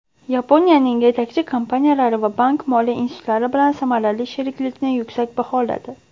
Yaponiyaning yetakchi kompaniyalari va bank-moliya institutlari bilan samarali sheriklikni yuksak baholadi.